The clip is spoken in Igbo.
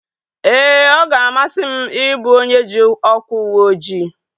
Ee, ọ ga-amasị m ị bụ onye ji ọkwa uweojii